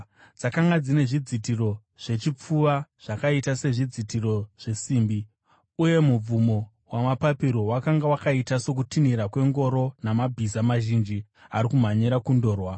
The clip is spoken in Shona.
Dzakanga dzine zvidzitiro zvechipfuva zvakaita sezvidzitiro zvesimbi, uye mubvumo wamapapiro wakanga wakaita sokutinhira kwengoro namabhiza mazhinji ari kumhanyira kundorwa.